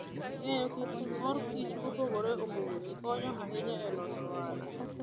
Ng'eyo kit mor kich mopogore opogore konyo ahinya e loso ohala.